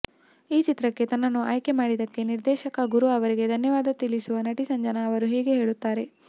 ಈ ಚಿತ್ರಕ್ಕೆ ತನ್ನನ್ನು ಆಯ್ಕೆ ಮಾಡಿದ್ದಕ್ಕೆ ನಿರ್ದೇಶಕ ಗುರು ಅವರಿಗೆ ಧನ್ಯವಾದ ತಿಳಿಸುವ ನಟಿ ಸಂಜನಾ ಅವರು ಹೀಗೆ ಹೇಳುತ್ತಾರೆ